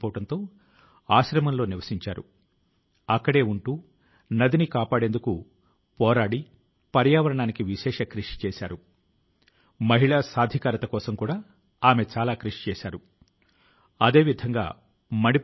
ఇటువంటి పరిస్థితి లో కరోనా ఈ కొత్త రకానికి వ్యతిరేకం గా స్వీయ అప్రమత్తత ను క్రమశిక్షణ ను పాటించడమనేవి దేశాని కి గొప్ప శక్తి గా ఉండగలవు